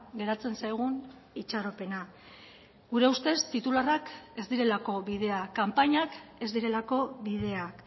geratzen zaigun itxaropena gure ustez titularrak ez direlako bidea kanpainak ez direlako bideak